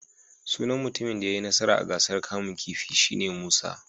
Sunan mutumin da ya yi nasara a gasar kamun kifi shi ne Musa.